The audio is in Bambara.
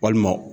Walima